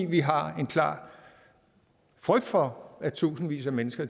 vi har en klar frygt for at tusindvis af mennesker